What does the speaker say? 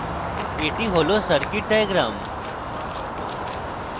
এটি হল circuit diagram হয়